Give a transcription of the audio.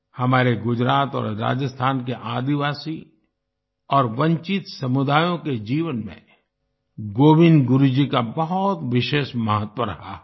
हमारे गुजरात और राजस्थान के आदिवासी और वंचित समुदायों के जीवन में गोविन्द गुरु जी का बहुत विशेष महत्व रहा है